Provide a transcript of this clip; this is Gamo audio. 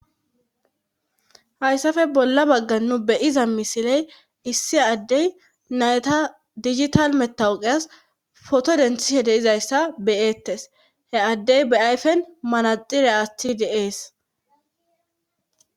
hayssafe bolla bagga nu beyiza misiley issi addey nayta digital metawuqeyas foto denthihe deizayssa beyeettes he addey be7ayfen manaxire atthi deees